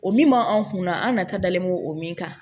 O min m'anw kunna an nata dalen m'o min kan